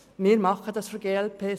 Wir von der glp tun dies.